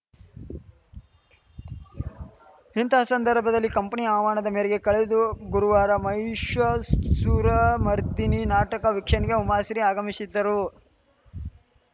ಇಂತಹ ಸಂದರ್ಭದಲ್ಲಿ ಕಂಪನಿ ಆಹ್ವಾನದ ಮೇರೆಗೆ ಕಳೆದು ಗುರುವಾರ ಮಹಿಷಾಸುರ ಮರ್ದಿನಿ ನಾಟಕ ವೀಕ್ಷಣೆಗೆ ಉಮಾಶ್ರೀ ಆಗಮಿಶಿದ್ದರು